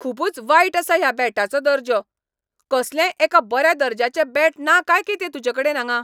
खुबूच वायट आसा ह्या बॅटाचो दर्जो . कसलेंय एक बऱ्या दर्ज्याचें बॅट ना काय कितें तुजेकडेन हांगा?